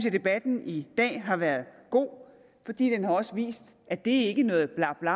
at debatten i dag har været god fordi den også har vist at det ikke er noget blabla